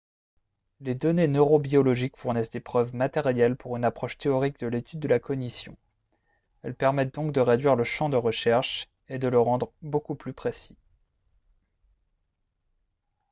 les données neurobiologiques fournissent des preuves matérielles pour une approche théorique de l'étude de la cognition elles permettent donc de réduire le champ de recherche et de le rendre beaucoup plus précis